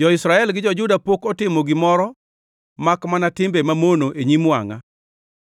“Jo-Israel gi jo-Juda pok otimo gimoro makmana timbe mamono e nyim wangʼa